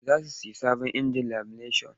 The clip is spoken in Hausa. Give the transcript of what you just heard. Za su sayi sabon injin lamineshan.